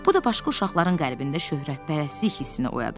Bu da başqa uşaqların qəlbində şöhrətpərəstlik hissini oyadırdı.